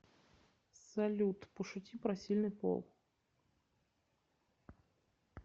салют пошути про сильный пол